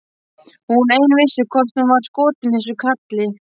Hún ein vissi hvort hún var skotin í þessum kalli.